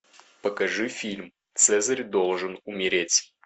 покажи фильм цезарь должен умереть